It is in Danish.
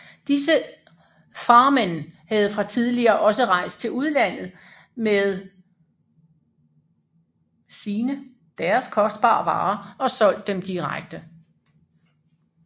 Disse farmenn havde fra tidligere også rejst til udlandet med sine kostbare varer og solgt dem direkte